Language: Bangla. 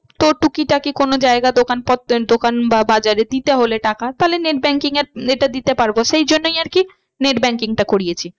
তোর টুকিটাকি কোনো জায়গা দোকান দোকান বা বাজারে দিতে হলে টাকা তাহলে net banking এর এটা দিতে পারবো সেই জন্যই আর কি net banking টা করিয়েছি।